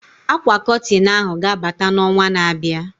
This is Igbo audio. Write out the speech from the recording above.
Akwa Kọtịn ahụ ga-abata na onwa na abịa